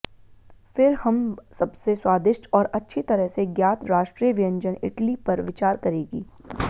फिर हम सबसे स्वादिष्ट और अच्छी तरह से ज्ञात राष्ट्रीय व्यंजन इटली पर विचार करेगी